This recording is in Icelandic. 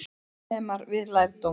Laganemar við lærdóm